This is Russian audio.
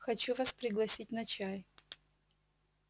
хочу вас пригласить на чай